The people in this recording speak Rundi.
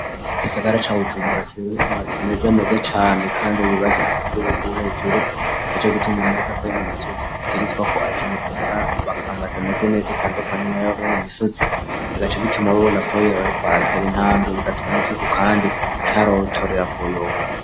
Igisagara ca wujumbura ibb amaze meze ameze cane kandi bibashitse kurugugu hejuru yaco gite umuntu wese avaye mu misozi ubwirizwa ko aje mu gisagara koba amaze meze neza atandukanye na yabbo mu misotzi bigace bituma babona ko yee bariko aratera intambwe bigatuma n'igihugu kandi cyarotorera kuyoko.